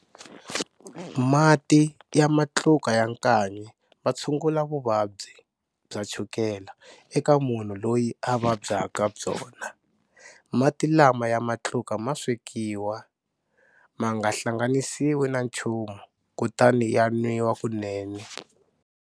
Mati ya matluka ya nkanyi ma tshungula vuvabyi bya chukela eka munhu loyi a vabyaka byona. Mati lama ya matluka ma swekiwa, ma nga hlanganisiwi na nchumu kutani ya nwiwa kunene.